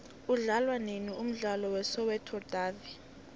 udlalwanini umdlalo we soweto davi